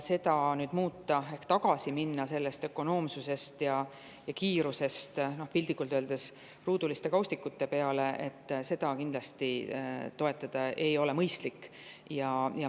Selle muutmist ja sellest ökonoomsusest ja kiirusest tagasiminemist piltlikult öeldes ruuduliste kaustikute peale kindlasti ei ole mõistlik toetada.